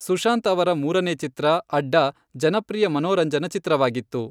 ಸುಶಾಂತ್ ಅವರ ಮೂರನೇ ಚಿತ್ರ, ಅಡ್ಡಾ, ಜನಪ್ರಿಯ ಮನೋರಂಜನಾ ಚಿತ್ರವಾಗಿತ್ತು.